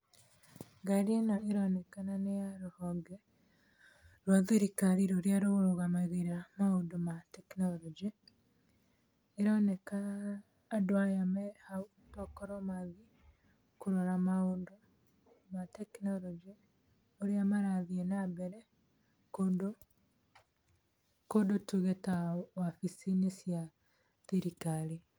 Ngari ĩno ĩronekana nĩ ya rũhonge rwa thirikari rũrĩa rũrũgamagĩrĩraga maũndũ ma tekinoronjĩ. Ĩroneka andũ aya mehau tokorwo mathiĩ kũrora maũndũ ma tekinoronjĩ ũrĩa marathiĩ na mbere kũndũ tuge ta wabici-inĩ cia thirikari.